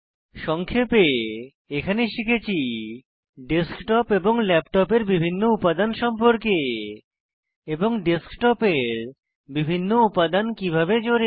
সংক্ষেপে এখানে শিখেছি ডেস্কটপ ও ল্যাপটপের বিভিন্ন উপাদান সম্পর্কে এবং ডেস্কটপের বিভিন্ন উপাদান কিভাবে জোড়ে